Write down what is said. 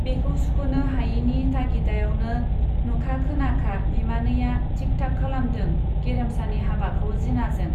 बेखौ सुख'नो हायैनि तागिदायावनो नुखा खोनाखा बिमानैया थिक थाक खालामदों गेरेमसानि हाबाखौ जिनाजों।